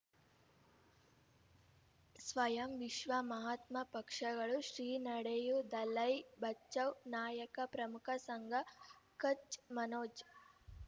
ಸ್ವಯಂ ವಿಶ್ವ ಮಹಾತ್ಮ ಪಕ್ಷಗಳು ಶ್ರೀ ನಡೆಯೂ ದಲೈ ಬಚೌ ನಾಯಕ ಪ್ರಮುಖ ಸಂಘ ಕಚ್ ಮನೋಜ್